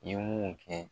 I ye mun kɛ